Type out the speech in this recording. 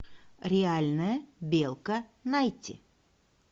реальная белка найти